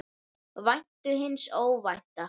Væntu hins óvænta.